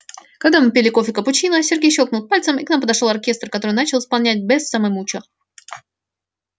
когда мы пили кофе капучино сергей щёлкнул пальцем и к нам подошёл оркестр который начал исполнять бесса ме мучо